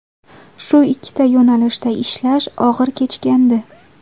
Shu ikkita yo‘nalishda ishlash og‘ir kechgandi.